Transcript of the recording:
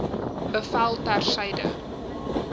bevel ter syde